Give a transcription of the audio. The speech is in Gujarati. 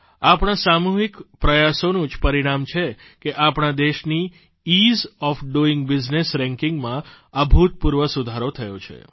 આપણા સામૂહિક પ્રયાસોનું જ પરિણામ છે કે આપણા દેશની ease of doing business ranking માં અભૂતપૂર્વ સુધારો થયો છે